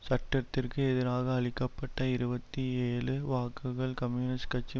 சட்டத்திற்கு எதிராக அளிக்க பட்ட இருபத்தி ஏழு வாக்குகள் கம்யூனிஸ்ட் கட்சி